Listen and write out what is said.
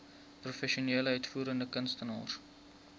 professionele uitvoerende kunstenaars